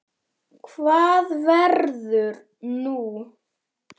Hvað verður nú?